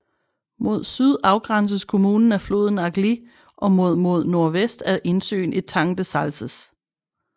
Mod syd afgrænses kommunen af floden Agly og mod mod nordvest af indsøen Etang de Salses